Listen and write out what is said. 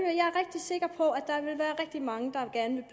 rigtig mange der gerne